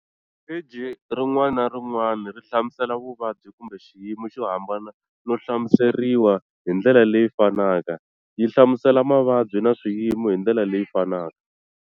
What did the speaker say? Pheji rin'wana na rin'wana ri hlamusela vuvabyi kumbe xiyimo xo hambana no hlamuseriwa hi ndlela leyi fanaka, yi hlamusela mavabyi na swiyimo hi ndlela leyi fanaka.